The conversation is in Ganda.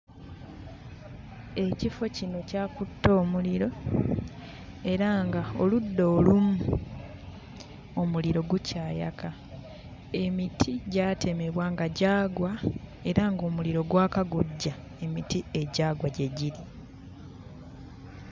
Ekifo kino kyakutte omuliro era ng'oludda olumu omuliro gukyayaka. Emiti gyatemebwa nga gyagwa era ng'omuliro gwaka gujja emiti egyagwa gye giri.